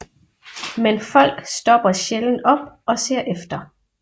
Men folk stopper sjældent op og ser efter